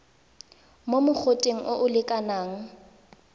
mo mogoteng o o lekanang